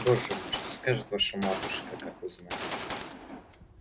боже мой что скажет ваша матушка как узнает